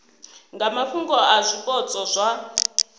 nga mafhungo a zwipotso zwa